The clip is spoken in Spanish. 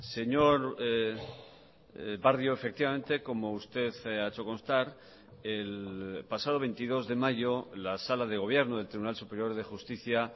señor barrio efectivamente como usted ha hecho constar el pasado veintidós de mayo la sala de gobierno del tribunal superior de justicia